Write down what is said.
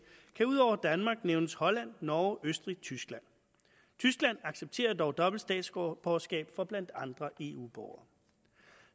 kan ud over danmark nævnes holland norge østrig og tyskland tyskland accepterer dog dobbelt statsborgerskab for blandt andre eu borgere